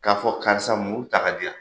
K'a fɔ karisa muru ta diyan,